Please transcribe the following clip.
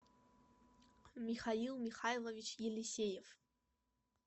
михаил михайлович елисеев